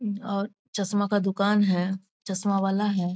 मम और चश्मा का दुकान है चश्मा वाला है।